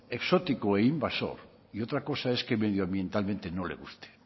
exótico e invasor y otra cosa es que medioambientalmente no le guste